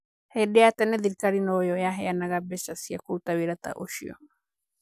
"Hĩndĩ ya tene thirikari noyo yaheanaga mbeca cia kũruta wĩra ta ũcio.